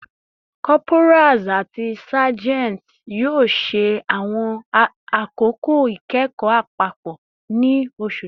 Corporals ati sergeants yoo ṣe awọn akoko ikẹkọ apapọ ni oṣu ti n bọ